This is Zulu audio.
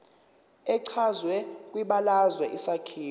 echazwe kwibalazwe isakhiwo